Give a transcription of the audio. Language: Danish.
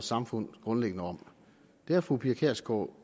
samfund grundlæggende om det har fru pia kjærsgaard